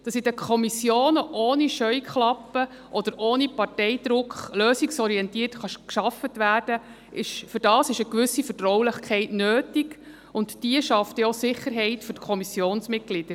Dafür, dass in den Kommissionen ohne Scheuklappen oder ohne Parteidruck lösungsorientiert gearbeitet werden kann, ist eine gewisse Vertraulichkeit nötig, und diese schafft denn auch Sicherheit für die Kommissionsmitglieder.